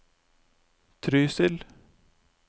Trysil